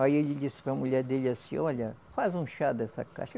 Aí ele disse para a mulher dele assim, olha, faz um chá dessa casca.